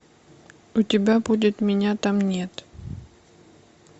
у тебя будет меня там нет